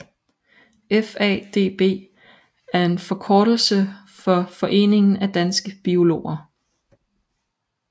FaDB er en forkortelse for Foreningen af Danske Biologer